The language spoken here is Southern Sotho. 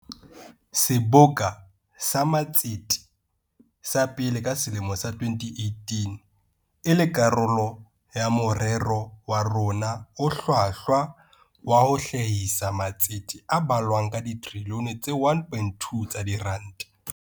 Seboka sa Matsete sa pele ka selemo sa 2018 e le karolo ya morero wa rona o hlwahlwa wa ho hlahisa matsete a balwang ka trilione tse 1.2 tsa diranta.